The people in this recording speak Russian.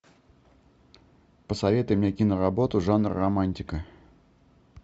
посоветуй мне киноработу жанра романтика